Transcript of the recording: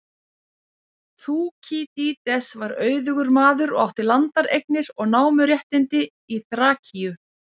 Þúkýdídes var auðugur maður og átti landareignir og námuréttindi í Þrakíu.